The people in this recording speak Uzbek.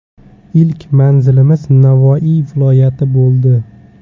Ilk manzilimiz Navoiy viloyati bo‘ldi.